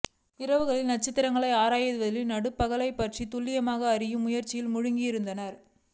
இரவுகளில் நட்சத்திரங்களை ஆராய்வதிலும் நடுப்பகல் பற்றித் துல்லியமாக அறியும் முயற்சியிலும் மூழ்கியிருந்தார்